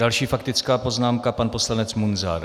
Další faktická poznámka pan poslanec Munzar.